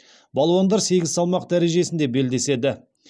балуандар сегіз салмақ дәрежесінде белдеседі